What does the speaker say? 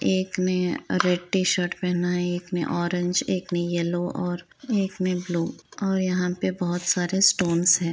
एक ने red T-shirt पहना है एक ने ओरेंज एक ने यलो और एक ने ब्लू और यहाँ पे बहोत सारे स्टोन्स हैं।